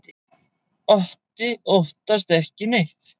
Otti óttast ekki neitt!